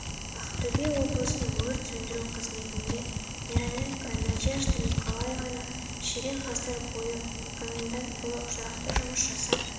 ақтөбе облысының өрт сөндіру қызметінде мироненко надежда николаевна ширек ғасыр бойы комендант болып тұрақты жұмыс жасап